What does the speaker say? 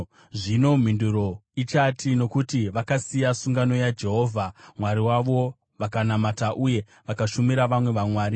Zvino mhinduro ichati, ‘Nokuti vakasiya sungano yaJehovha Mwari wavo vakanamata uye vakashumira vamwe vamwari.’ ”